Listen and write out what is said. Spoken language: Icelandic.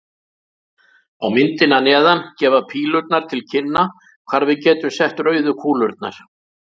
Á myndinni að neðan gefa pílurnar til kynna hvar við getum sett rauðu kúlurnar.